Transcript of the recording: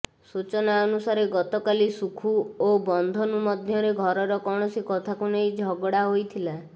ସୂଚନା ଅନୁସାରେ ଗତକାଲି ସୁଖୁ ଓ ବନ୍ଧନୁ ମଧ୍ୟରେ ଘରର କୌଣସି କଥାକୁ ନେଇ ଝଗଡ଼ା ହୋଇଥିଲା